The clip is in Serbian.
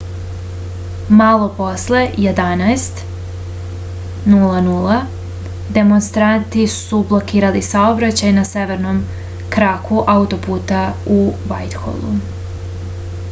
malo posle 11:00 demonstranti su blokirali saobraćaj na severnom kraku autoputa u vajtholu